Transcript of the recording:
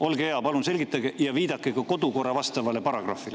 Olge hea, palun selgitage ja viidake ka kodukorra vastavale paragrahvile.